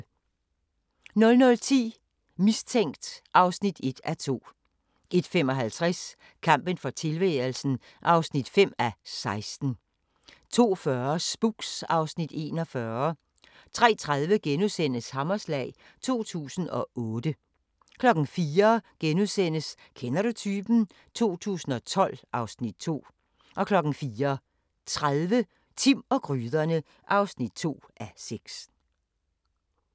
00:10: Mistænkt (1:2) 01:55: Kampen for tilværelsen (5:16) 02:40: Spooks (Afs. 41) 03:30: Hammerslag 2008 * 04:00: Kender du typen? 2012 (Afs. 2)* 04:30: Timm og gryderne (2:6)